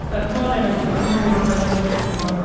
சத்து மாவுல என்ன சத்து மாவு உருண்ட மாறி பிடுச்சு குடுப்பாங்க